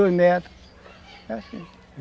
é assim